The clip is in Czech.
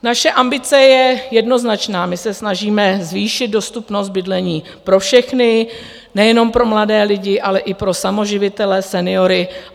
Naše ambice je jednoznačná: my se snažíme zvýšit dostupnost bydlení pro všechny, nejenom pro mladé lidi, ale i pro samoživitele, seniory.